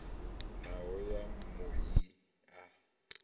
hoho ya mui i a